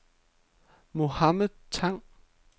Mohamed Tang